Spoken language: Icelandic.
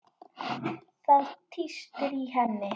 Það tístir í henni.